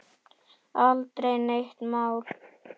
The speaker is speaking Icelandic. Aldrei neitt mál.